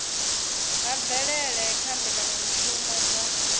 ha mvelele kha mbekanyamishumo dza